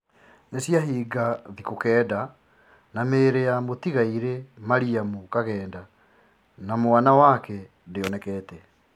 Nĩciahinga thikũ kenda na mĩĩrĩ ya mũtigairĩ Mariam Kagheda na mwana wake ndĩonekete.